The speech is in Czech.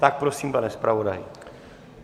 Tak prosím, pane zpravodaji.